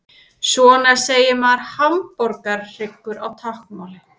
Svona segir maður hamborgarhryggur á táknmáli.